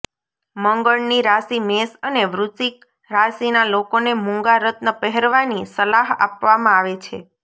મંગળની રાશિ મેષ અને વૃશ્ચિક રાશિના લોકોને મૂંગા રત્ન પહેરવાની સલાહ આપવામાં આવે છે